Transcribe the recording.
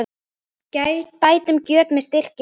Bætum göt með styrkri hönd.